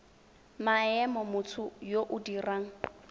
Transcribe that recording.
maemo motho yo o dirang